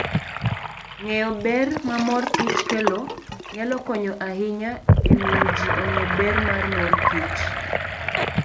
Ng'eyo ber ma mor kich kelo nyalo konyo ahinya e miyo ji ong'e ber mar mor kich.